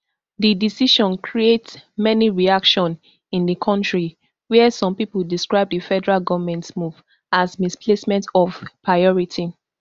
di decision create many reaction in di kontri wia some pipo describe di federal goment move as misplacement of priority